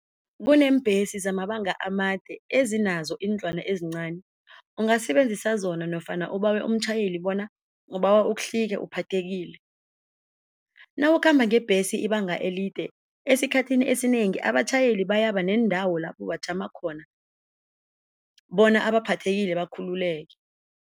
Kuneembhesi zamabanga amade ezinazo iindlwana ezincani ungasebenzisa zona nofana ubawe umtjhayeli bona ubawa uhlike uphathekile. Nawukhamba ngebhesi ibanga elide esikhathini esinengi abatjhayeli bayaba neendawo lapho bajama khona bona abaphathekile bakhululeke.